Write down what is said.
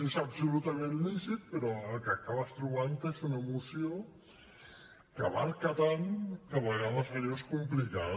és absolutament lícit però el que acabes trobant te és una moció que abasta tant que a vegades allò és complicat